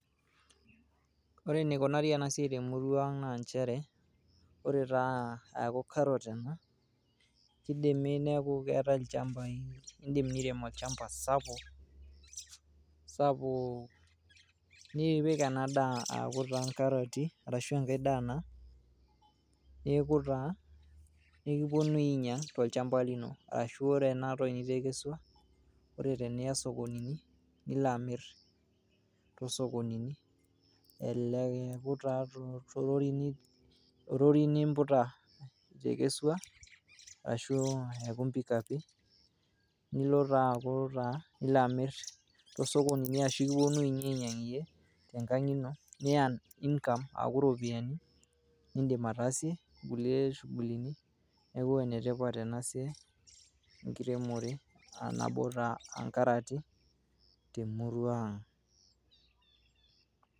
Ore enikunari ena siai te murrua Ang naa nchere naa ore taa eaku carrot ena ,kidimi niaku keetae ilchambai . Indim nirem olchamba sapuk .sapuk nipik ena daa aaku taa nkarati ashu enkae daa naa Neku taa ekipuonui ainyiang tolchamba lino . Arashu ore ena toki nitekesua ,ore teniya sokonini ,nila amir tosokonini .